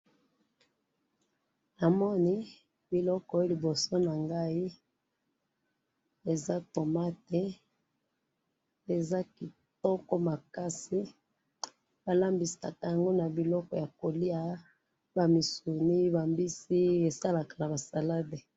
namoni biloko liboso nangai eza tomate eza kitoko makasi balambisakango na biloko ya kolya ba misuni, ba mbisi esalaka ba salade